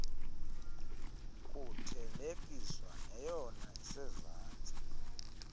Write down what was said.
kuthelekiswa neyona isezantsi